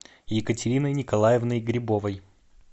екатериной николаевной грибовой